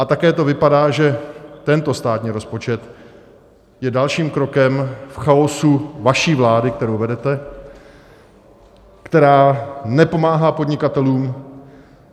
A také to vypadá, že tento státní rozpočet je dalším krokem k chaosu vaší vlády, kterou vedete, která nepomáhá podnikatelům.